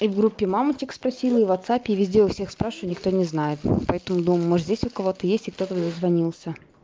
и в группе мамочек спросили и в ватсапе и везде у всех спрашиваю никто не знает поэтому может здесь у кого-то есть и кто-то дозвонился